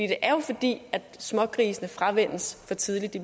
det er jo fordi smågrisene fravænnes for tidligt de